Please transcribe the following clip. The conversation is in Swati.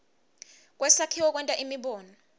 kwesakhiwo kwenta imibono